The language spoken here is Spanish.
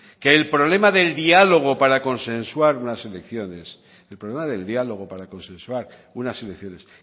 que el problema del diálogo para consensuar unas elecciones